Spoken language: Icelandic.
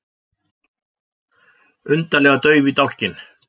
Undarlega dauf í dálkinn.